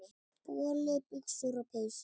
Boli, buxur og peysur.